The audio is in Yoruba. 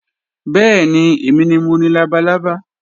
Bẹ́ẹ̀ni, èmi ni mo ni labalábá